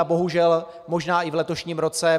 A bohužel, možná i v letošním roce.